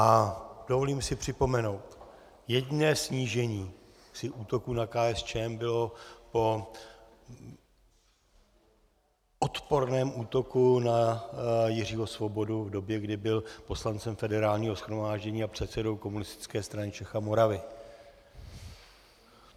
A dovolím si připomenout: Jediné snížení při útoku na KSČM bylo po odporném útoku na Jiřího Svobodu v době, kdy byl poslancem Federálního shromáždění a předsedou Komunistické strany Čech a Moravy.